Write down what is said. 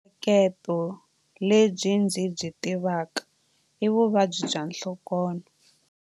Lebyi ndzi byi tivaka i vuvabyi bya nhlokonho.